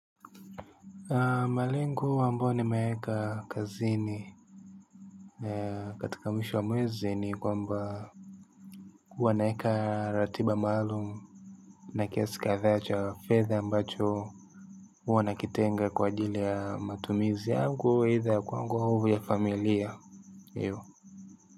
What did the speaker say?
Malengo ambao nimeeka kazini katika mwisho wa mwezi ni kwamba huwa naeka ratiba maalumu na kiasi kadhaa cha fedha ambacho huwa nakitenga kwa ajili ya matumizi yangu either kwa nguvu ya familia.